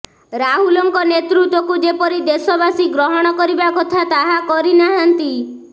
ରାହୁଲଙ୍କ ନେତୃତ୍ୱକୁ ଯେପରି ଦେଶବାସୀ ଗ୍ରହଣ କରିବା କଥା ତାହା କରିନାହାନ୍ତି